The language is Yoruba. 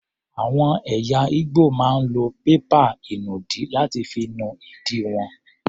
Àwọn ẹ̀yà Igbo máa ń lo pépà ìnùdí láti fi nu ìdí wọn.